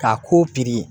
K'a ko